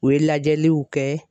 U ye lajɛliw kɛ.